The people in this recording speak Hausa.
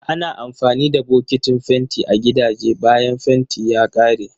Ana amfani da bokitin fenti a gidaje bayan fentin ya kare.